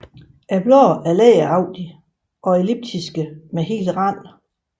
Bladene er læderagtige og elliptiske med hel rand